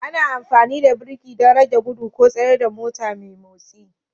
Ana amfani da birki don rage gudu ko tsayar da mota mai motsi